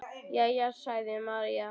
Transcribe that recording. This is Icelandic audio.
Jæja, sagði María.